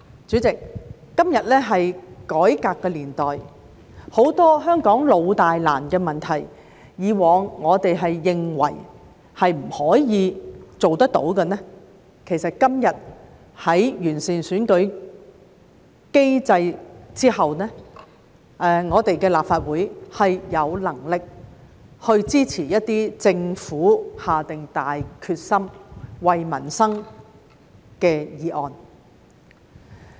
主席，今天是改革的年代，很多香港老大難的問題，以往我們認為不可以做到的，其實今天在完善選舉機制之後，立法會是有能力支持一些政府下定大決心、為民生的議案。